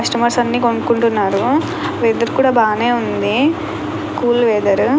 Customers అన్ని కొనుకుంటున్నారు weather కూడా బాగానే ఉంది కూల్ వెదర్ .